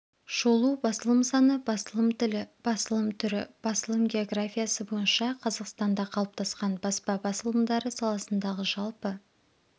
шолу басылым саны басылым тілі басылым түрі басылым географиясы бойынша қазақстанда қалыптасқан баспа басылымдары саласындағы жалпы